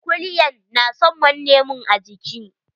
Kulyan na son manne mun a jiiki.